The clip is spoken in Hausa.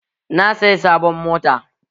Na saya sabon mota